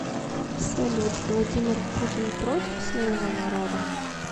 салют владимир путин против своего народа